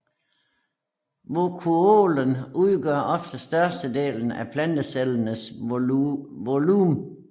Vakuolen udgør ofte størstedelen af plantecellens volumen